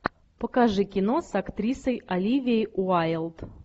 покажи кино с актрисой оливией уайлд